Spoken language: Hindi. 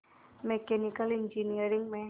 मैकेनिकल इंजीनियरिंग में